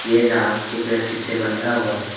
ये नाव एक रस्सी से बंधा हुआ है।